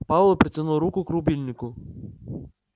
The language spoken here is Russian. пауэлл протянул руку к рубильнику